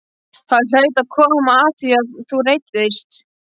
Það hlaut að koma að því að þú reiddist.